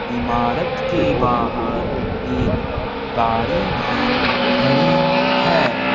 इमारत के बाहर एक गाड़ी भी खड़ी है।